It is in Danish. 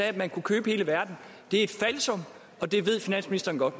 at man kunne købe hele verden er et falsum og det ved finansministeren godt